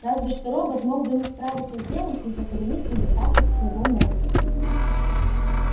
разве что робот мог бы не справиться с делом из-за коренных недостатков своего мозга